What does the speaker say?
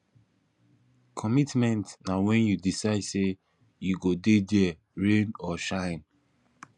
commitment na wen you decide sey you go dey there rain or shine